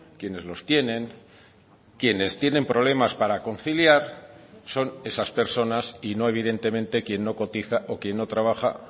quienes los tienen quienes tienen problemas para conciliar son esas personas y no evidentemente quien no cotiza o quien no trabaja